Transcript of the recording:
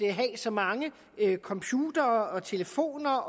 at have så mange computere og telefoner